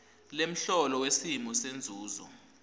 lemholo wesimo senzuzo